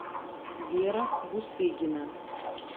вера бусыгина